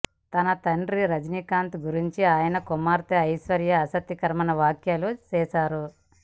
తన తండ్రి రజనీకాంత్ గురించి ఆయన కుమార్తె ఐశ్వర్య ఆసక్తికర వ్యాఖ్యలు చేశారు